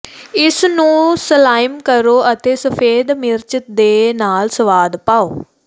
ਇਸ ਨੂੰ ਸਲਾਈਮ ਕਰੋ ਅਤੇ ਸਫੈਦ ਮਿਰਚ ਦੇ ਨਾਲ ਸਵਾਦ ਪਾਓ